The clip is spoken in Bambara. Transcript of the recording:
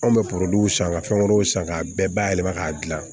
Anw bɛ san ka fɛn wɛrɛw san k'a bɛɛ bayɛlɛma k'a dilan